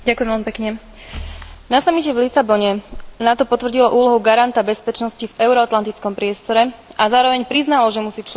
Na samite v Lisabone NATO potvrdilo úlohu garanta bezpečnosti v euroatlantickom priestore a zároveň priznalo, že musí čeliť novým výzvam.